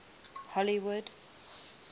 hollywood